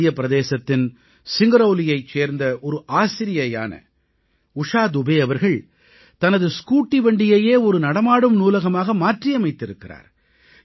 மத்திய பிரதேசத்தின் சிங்கரௌலியைச் சேர்ந்த ஒரு ஆசிரியையான உஷா துபே அவர்கள் தனது ஸ்கூட்டி வண்டியையே ஒரு நடமாடும் நூலகமாக மாற்றியமைத்திருக்கிறார்